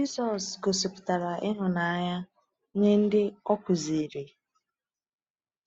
Jisọs gosipụtara ịhụnanya nye ndị o kụziri.